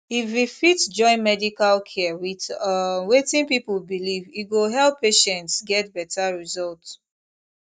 if we fit join medical care with um wetin people believe e go help patients get better result